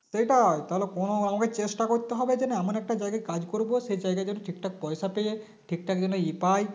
সেটাই তাহলে Pranab আমাকে চেষ্টা করতে হবে যে না এমন একটা জায়গায় কাজ করব সেই জায়গায় যেন ঠিক ঠাক পয়সা পেয়ে যাই ঠিক ঠাক যেন ই পাই